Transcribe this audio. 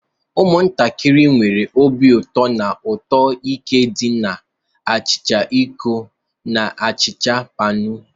Ụmụntakịrị nwere obi ụtọ na uto nke di na achicha iko na achicha panu.